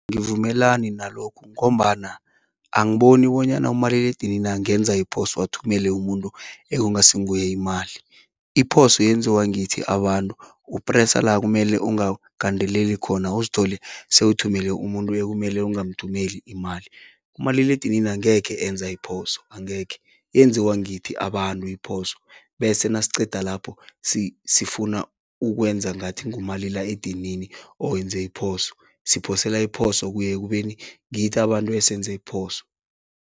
Angivumelani nalokho, ngombana angiboni bonyana umaliledinini angenza iphoso, ayithumele umuntu ekungasinguye imali. Iphoso yenziwa ngithi abantu. Upresa la kumele angagandeleli khona, uzithole sewuthumele umuntu ekumele ungamthumeli imali. Umaliledinini angekhe enza iphoso, angekhe. Yenziwa ngithi abantu iphoso, bese nasiqeda lapho sifuna ukwenza ngathi ngumaliledinini owenze iphoso. Siphosela iphoso kuye ekubeni ngithi abantu esenze iphoso.